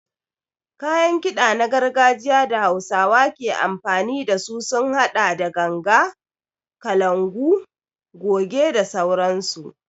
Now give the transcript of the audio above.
Kayan kiɗa na gargajiya da hausawa ke amfani dasu sun haɗa da ganga, kalangu, goje da sauransu.